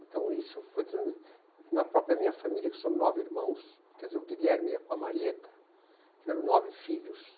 Então, isso foi... Na própria minha família, que são nove irmãos, quer dizer, o Guilherme ia com a Marieta, tiveram nove filhos.